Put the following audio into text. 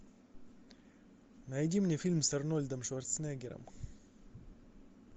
найди мне фильм с арнольдом шварценеггером